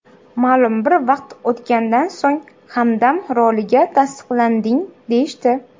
Ma’lum bir vaqt o‘tgandan so‘ng, Hamdam roliga tasdiqlanding deyishdi.